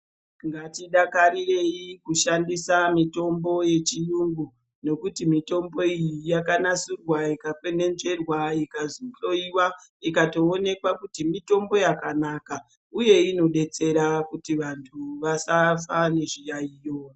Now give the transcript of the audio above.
Ngatidakarirei kushandisa mitombo yechiyungu. Nokuti mitombo iyi yakanasirwa ika kwenenzverwa ikahloiwa ikatoonekwa kuti mitombo yakanaka, uye inobetsera kuti vantu vasafa nezviyaiyo.